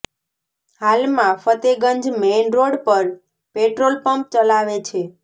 હાલમાં Fatehganj main road પર petrol pump ચલાવે છે